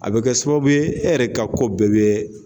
A bɛ kɛ sababu ye e yɛrɛ ka ko bɛɛ bɛ